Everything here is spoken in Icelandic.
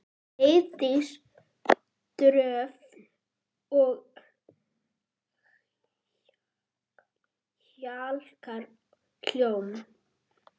Heiðdís Dröfn og Bjarki Hólm.